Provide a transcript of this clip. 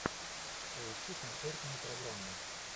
поищи концертную программу